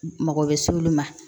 Mago bɛ s'olu ma